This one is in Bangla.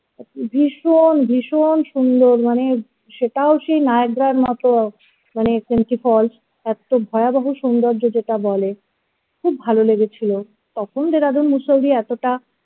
ভীষণ ভীষণ সুন্দর মানে সেটাও সেই nayagra এর মতো মানে kemty falls এত্ত ভয়াভহ সুন্দর যে যেটা বলে খুব ভালো লেগেছিল তখন যে বিষয়টি এতটা